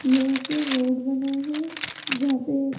ये एक रोड बना है जहां पे--